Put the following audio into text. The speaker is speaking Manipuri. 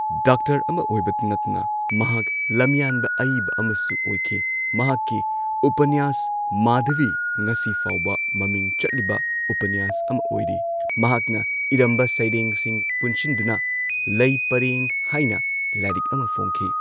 ꯗꯥꯛꯇꯔ ꯑꯃ ꯑꯣꯏꯕꯇ ꯅꯠꯇꯅ ꯃꯍꯥꯛ ꯂꯝꯌꯥꯟꯕ ꯑꯏꯕ ꯑꯃꯁꯨ ꯑꯣꯏꯈꯤ ꯃꯍꯥꯛꯀꯤ ꯎꯄꯅ꯭ꯌꯥꯁ ꯃꯥꯙꯕꯤ ꯉꯁꯤꯐꯥꯎꯕ ꯃꯃꯤꯡ ꯆꯠꯂꯤꯕ ꯎꯄꯅꯤꯌꯥꯁ ꯑꯃ ꯑꯣꯏꯔꯤ ꯃꯍꯥꯛꯅ ꯏꯔꯝꯕ ꯁꯩꯔꯦꯡꯁꯤꯡ ꯄꯨꯟꯁꯤꯟꯗꯨꯅ ꯂꯩ ꯄꯔꯦꯡ ꯍꯥꯏꯅ ꯂꯥꯏꯔꯤꯛ ꯑꯃ ꯐꯣꯡꯈꯤ꯫